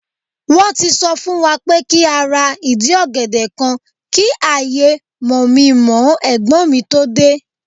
Won ti so fun wa pe ki a ra idi ogede kan ki aye mominmoo egbon mi to de